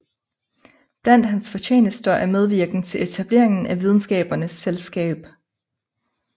Blandt hans fortjenester er medvirken til etableringen af Videnskabernes Selskab